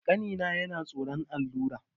Ƙanina yana tsoron allura.